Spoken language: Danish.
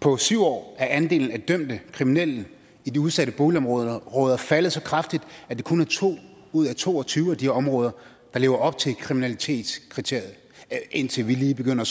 på syv år er andelen af dømte kriminelle i de udsatte boligområder faldet så kraftigt at det kun er to ud af to og tyve af de områder der lever op til kriminalitetskriteriet indtil vi lige begynder